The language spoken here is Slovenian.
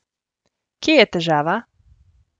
Kje je težava?